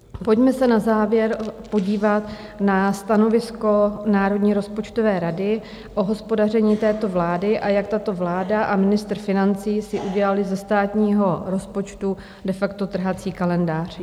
Pojďme se na závěr podívat na stanovisko Národní rozpočtové rady o hospodaření této vlády, a jak tato vláda a ministr financí si udělali ze státního rozpočtu de facto trhací kalendář.